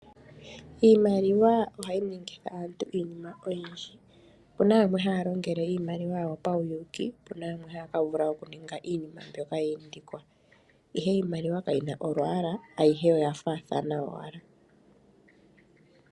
Iimaliwa ohayi ningitha aantu iinima oyindji. Opu na yamwe haya longele iimaliwa yawo pauyuuki, po opu na yamwe haya ka ninga iinima mbyoka yi indikwa, ihe iimaliwa kayi na olwaala ayihe oya faathana owala.